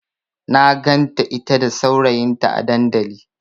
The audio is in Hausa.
Na ganta ita da saurayinta a dandali.